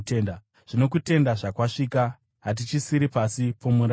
Zvino kutenda zvakwasvika, hatichisiri pasi pomurayiro.